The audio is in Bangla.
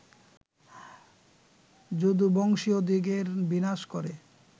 যদুবংশীয়দিগের বিনাশ করে